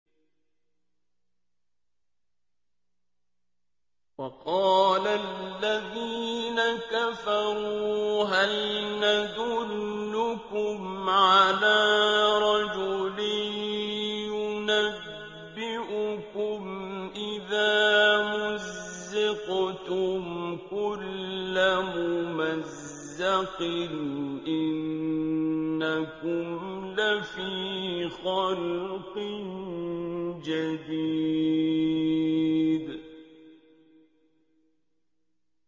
وَقَالَ الَّذِينَ كَفَرُوا هَلْ نَدُلُّكُمْ عَلَىٰ رَجُلٍ يُنَبِّئُكُمْ إِذَا مُزِّقْتُمْ كُلَّ مُمَزَّقٍ إِنَّكُمْ لَفِي خَلْقٍ جَدِيدٍ